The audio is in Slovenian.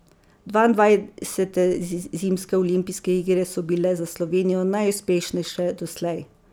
Dvaindvajsete zimske olimpijske igre so bile za Slovenijo najuspešnejše doslej.